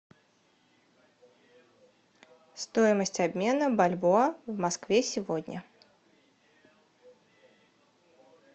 стоимость обмена бальбоа в москве сегодня